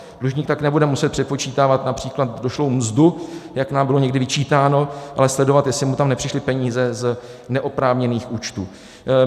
Dlužník tak nebude muset přepočítávat například došlou mzdu, jak nám bylo někdy vyčítáno, ale sledovat, jestli mu tam nepřišly peníze z neoprávněných účtů.